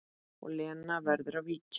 Og Lena verður að víkja.